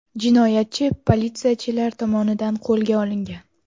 Jinoyatchi politsiyachilar tomonidan qo‘lga olingan.